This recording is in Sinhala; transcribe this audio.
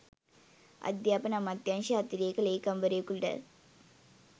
අධ්‍යාපන අමාත්‍යාංශයේ අතිරේක ලේකම්වරයෙකුට